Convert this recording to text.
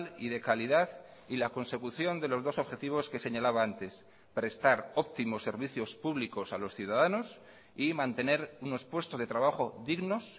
y de calidad y la consecución de los dos objetivos que señalaba antes prestar óptimos servicios públicos a los ciudadanos y mantener unos puestos de trabajo dignos